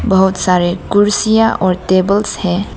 बहोत सारे कुर्सियां और टेबल्स हैं।